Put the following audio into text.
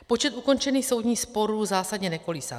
Počet ukončených soudních sporů zásadně nekolísá.